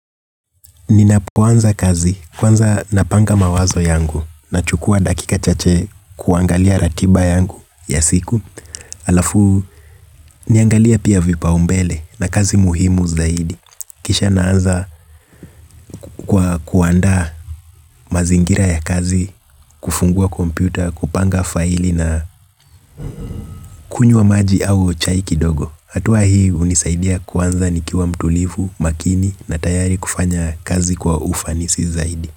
Ninapoanza kazi kwanza napanga mawazo yangu nachukua dakika chache kuangalia ratiba yangu ya siku halafu naangalie pia vipaumbele na kazi muhimu zaidi. Kisha naanza kwa kuandaa mazingira ya kazi, kufungua kompyuta, kupanga faili na kunywa maji au chai kidogo. Hatua hii hunisaidia kuanza nikiwa mtulivu, makini na tayari kufanya kazi kwa ufanisi zaidi.